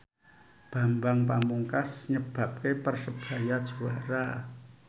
Bambang Pamungkas nyebabke Persebaya juara